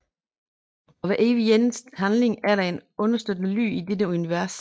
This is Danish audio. For hver evig eneste handling er der en understøttende lyd i dette univers